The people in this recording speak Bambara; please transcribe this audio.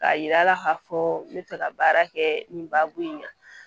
K'a yira a la k'a fɔ n bɛ fɛ ka baara kɛ nin baabu in na